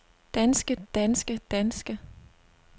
danske danske danske